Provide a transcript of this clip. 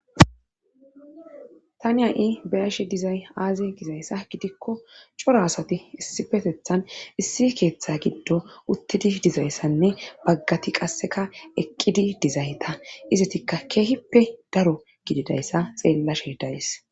tani ha7i beyashe dizay aaze gizayssa gidikko coro asati issipetethan issi keeththa giddo uttidi dizayssanne baggati qasseka eqqidi dizayta izatikka keehippe daro gididayssa xeellashe days